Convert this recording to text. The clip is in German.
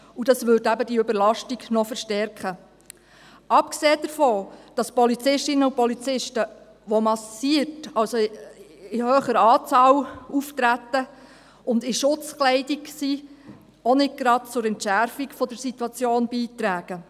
Das würde eben diese Überlastung noch verstärken, abgesehen davon, dass die Polizistinnen und Polizisten, welche massiert, also in hoher Anzahl auftreten und Schutzkleidung tragen, auch nicht gerade zur Entschärfung der Situation beitragen.